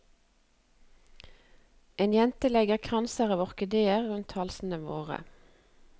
En jente legger kranser av orkideer rundt halsene våre.